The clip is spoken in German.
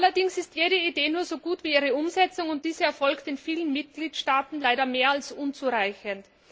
Allerdings ist jede Idee nur so gut wie ihre Umsetzung, und diese erfolgt in vielen Mitgliedstaaten leider mehr als unzureichend.